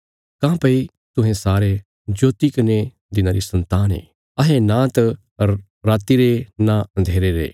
काँह्भई तुहें सारे ज्योति कने दिना री सन्तान ये अहें नांत राति रे नां अन्धेरे रे